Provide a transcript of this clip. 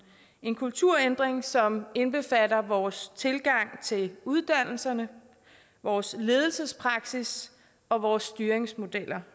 en kulturændring som indbefatter vores tilgang til uddannelserne vores ledelsespraksis og vores styringsmidler